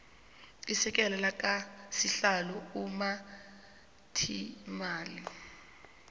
isekela lakasihlalo umphathiimali